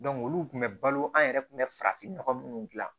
olu tun bɛ balo an yɛrɛ kun bɛ farafinnɔgɔ minnu dilan